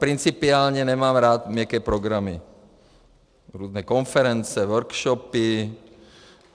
Principiálně nemám rád měkké programy, různé konference, workshopy.